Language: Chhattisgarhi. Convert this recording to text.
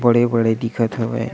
बड़े-बड़े दिखत हवय।